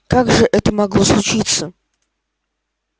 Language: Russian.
как же это могло случиться